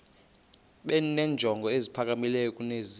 benenjongo eziphakamileyo kunezi